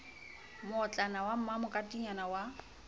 mootlwana wa moma katibanyana ya